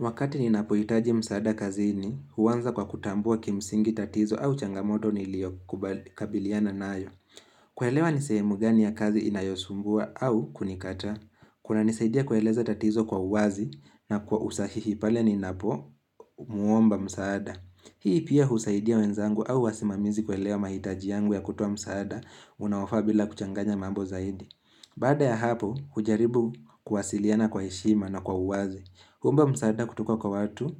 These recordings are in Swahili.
Wakati ninapo hitaji msaada kazini, huanza kwa kutambua kimsingi tatizo au changamoto nilio kubali kabiliana nayo. Kuelewa ni sehemu gani ya kazi inayosumbua au kunikataa. Kuna nisaidia kueleza tatizo kwa uwazi na kwa usahihi pale ninapo muomba msaada. Hii pia husaidia wenzangu au wasimamizi kuelewa mahitaji yangu ya kutoa msaada unaofaa bila kuchanganya mambo zaidi. Baada ya hapo, hujaribu kuwasiliana kwa heshima na kwa uwazi. Huomba msaada kutoka kwa watu,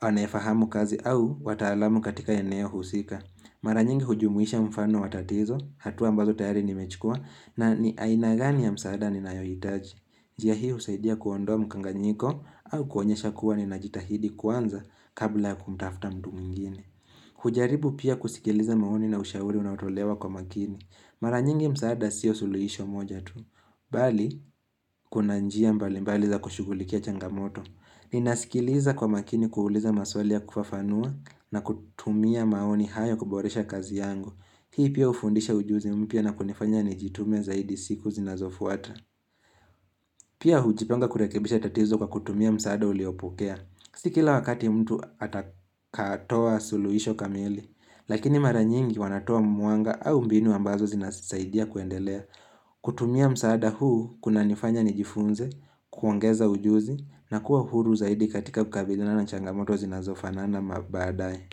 anayefahamu kazi au wataalamu katika eneo husika. Mara nyingi hujumuisha mfano wa tatizo, hatua ambazo tayari nimechukua, na ni aina gani ya msaada ninayohitaji. Njia hii husaidia kuondoa mkanganyiko au kuonyesha kuwa nina jitahidi kuanza kabla ya kumtafta mtu mingine. Hujaribu pia kusikiliza maoni na ushauri unaotolewa kwa makini. Mara nyingi msaada siyo suluhisho moja tu. Bali, kuna njia mbali mbali za kushughulikia changamoto. Ninasikiliza kwa makini kuuliza maswali ya kufafanua na kutumia maoni hayo kuboresha kazi yangu. Hii pia hufundisha ujuzi mpya na kunifanya nijitume zaidi siku zinazofuata. Pia hujipanga kurekebisha tatizo kwa kutumia msaada uliopokea. Si kila wakati mtu atakatoa suluhisho kamili. Lakini mara nyingi wanatoa mwanga au mbinu ambazo zinasaidia kuendelea. Kutumia msaada huu kuna nifanya nijifunze, kuongeza ujuzi na kuwa uhuru zaidi katika kukabiliana na changamoto zinazofanana mabaadaye.